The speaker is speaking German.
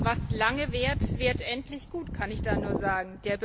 Was lange währt, wird endlich gut, kann ich da nur sagen.